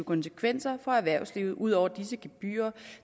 konsekvenser for erhvervslivet ud over disse gebyrer